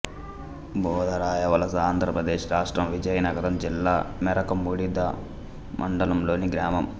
బూదరాయవలసఆంధ్ర ప్రదేశ్ రాష్ట్రం విజయనగరం జిల్లా మెరకముడిదాం మండలం లోని గ్రామం